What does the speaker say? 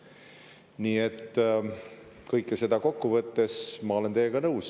Nii et kõike seda kokku võttes olen ma teiega nõus.